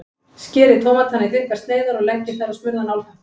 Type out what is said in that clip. Skerið tómatana í þykkar sneiðar og leggið þær á smurðan álpappír.